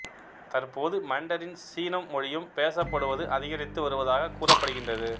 தற்போது மண்டரின் சீனம் மொழியும் பேசப்படுவது அதிகரித்து வருவதாகக் கூறப்படுகின்றது